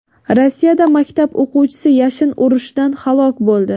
Rossiyada maktab o‘quvchisi yashin urishidan halok bo‘ldi.